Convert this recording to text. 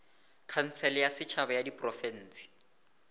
khansele ya setšhaba ya diprofense